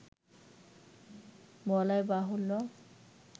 বলাইবাহুল্য